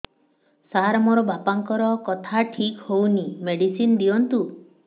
ସାର ମୋର ବାପାଙ୍କର କଥା ଠିକ ହଉନି ମେଡିସିନ ଦିଅନ୍ତୁ